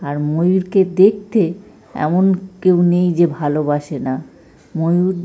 আর ময়ূরকে দেখতে এমন কেউ নেই যে ভালোবাসে না। ময়ূর।